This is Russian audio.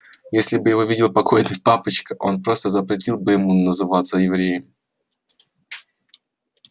если бы его видел покойный папочка он просто запретил бы ему называться евреем